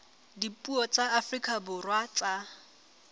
dipuo tsa afrika borwa tsa